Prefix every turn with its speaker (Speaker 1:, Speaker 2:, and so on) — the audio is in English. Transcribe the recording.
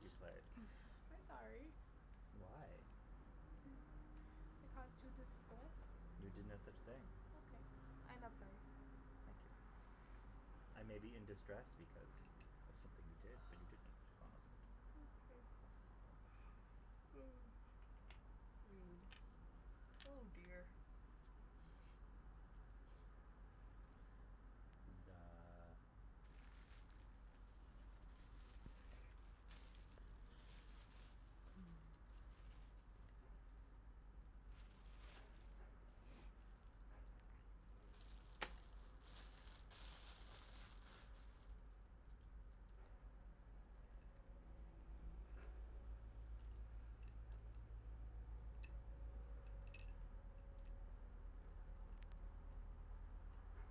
Speaker 1: you played.
Speaker 2: I'm sorry.
Speaker 1: Why?
Speaker 2: I caused you distress.
Speaker 1: You did no such thing.
Speaker 2: Okay, I'm not sorry.
Speaker 1: Thank you. I may be in distress because of something you did, but you didn't cause it.
Speaker 2: Okay.
Speaker 3: Okay. Rude.
Speaker 2: Oh, dear.
Speaker 1: Duh.